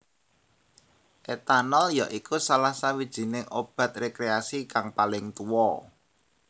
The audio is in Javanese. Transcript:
Etanol ya iku salah sawijiné obat rekreasi kang paling tuwa